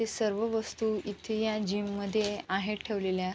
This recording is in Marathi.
इथे सर्व वस्तु इथे या जीम मध्ये आहेत ठेवलेल्या.